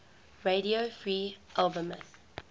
radio free albemuth